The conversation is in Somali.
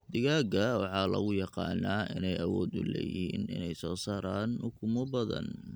Digaagga waxaa lagu yaqaanaa inay awood u leeyihiin inay soo saaraan ukumo badan.